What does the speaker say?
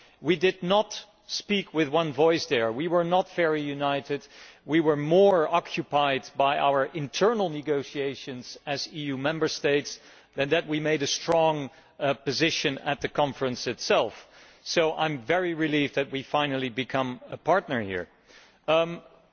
We did not speak with one voice, we were not very united, we were more occupied by our internal negotiations as EU Member States and then we made a strong position at the Conference itself, so I am very relieved that we have finally become a party to CITES.